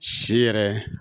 Si yɛrɛ